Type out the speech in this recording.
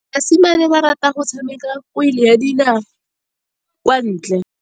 Basimane ba rata go tshameka kgwele ya dinaô kwa ntle.